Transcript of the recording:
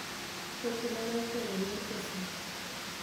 Weche ma ne ikeyo e yor Facebook -